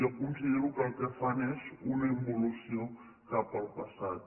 jo considero que el que fan és una involució cap al passat